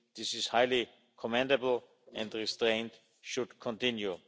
This is highly commendable and restraint should continue.